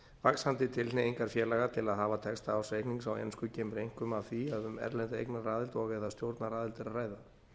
vaxandi tilhneigingar félaga til að hafa texta ársreiknings á ensku kemur einkum af því að um erlenda eignaraðild og eða stjórnaraðild er að ræða